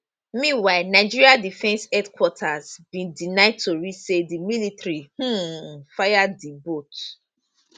meanwhile nigeria defence headquarters bin deny tori say di military um fire di boat